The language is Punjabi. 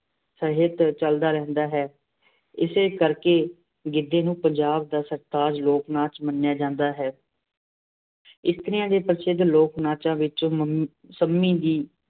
ਸਹਿਤ ਚੱਲਦਾ ਰਹਿੰਦਾ ਹੈ। ਇਸੇ ਕਰਕੇ ਗਿੱਧੇ ਨੂੰ ਪੰਜਾਬ ਦਾ ਸਿਰਤਾਜ ਲੋਕ-ਨਾਚ ਮੰਨਿਆਂ ਜਾਂਦਾ ਹੈ। ਇਸਤਰੀਆਂ ਦੇ ਪ੍ਰਸਿੱਧ ਲੋਕ-ਨਾਚਾਂ ਵਿੱਚੋਂ ਮੰਮੀ ਸੰਮੀ ਵੀ